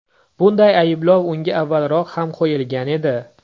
Bunday ayblov unga avvalroq ham qo‘yilgan edi.